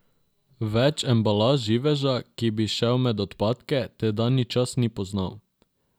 Več embalaž živeža, ki bi šel med odpadke, tedanji čas ni poznal.